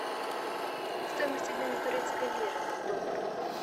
стоимость обмена турецкой лиры в доллары